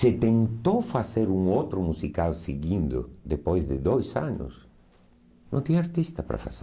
Se tentou fazer um outro musical seguindo, depois de dois anos, não tinha artista para fazer.